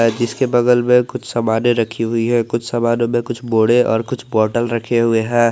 इसके बगल में कुछ सामाने रखी हुई है कुछ सामानों में कुछ बोरे और कुछ बॉटल रखे हुए हैं।